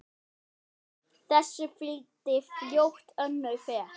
Þessu fylgdi fljótt önnur frétt